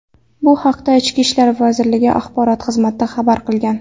Bu haqda Ichki ishlar vazirligi axborot xizmati xabar qilgan .